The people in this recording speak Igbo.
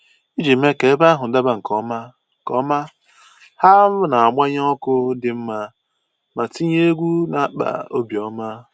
Iji mee ka ebe ahụ daba nke ọma, ọma, ha na-agbanye ọkụ dị mma ma tinye egwu na-akpa obi ọma